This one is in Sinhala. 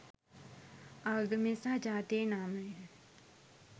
ආගමේ සහ ජාතියේ නාමයෙන්